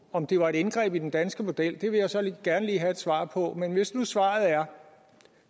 om det var et indgreb i den danske model det vil jeg så gerne lige have et svar på men hvis nu svaret er